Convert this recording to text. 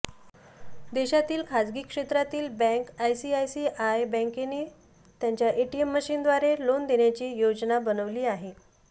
देशातील खासगी क्षेत्रातील बँक आयसीआयसीआयने बँकेने त्यांच्या एटीएम मशीन द्वारे लोन देण्याची योजना बनवली आहे